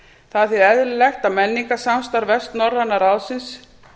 það er því eðlilegt að menningarsamstarf vestnorræna ráðsins